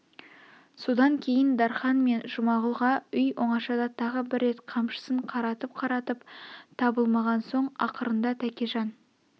содан кейін дарқан мен жұмағұлға үй оңашада тағы бір рет қамшысын қаратып-қаратып табылмаған соң ақырында тәкежан